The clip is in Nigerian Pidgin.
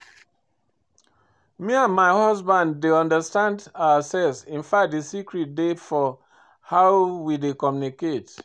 Me and my husband dey understand ourselves infact the secret dey for how we dey communicate